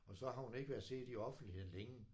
Og så har hun ikke været set i offentligheden længe